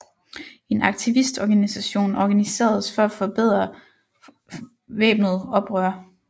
En aktivistorganisation organiseredes for at forberede væbnet oprør